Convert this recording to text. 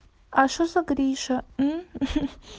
а что за гриша